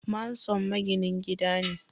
Manson maginin gida ne